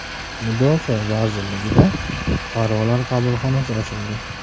Mudofaa vazirligida Fuqarolar qabulxonasi ochildi.